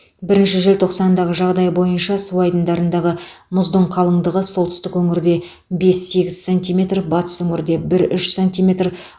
бірінші желтоқсандағы жағдай бойынша су айдындарындағы мұздың қалыңдығы солтүстік өңірде бес сегіз сантиметр батыс өңірде бір үш сантиметр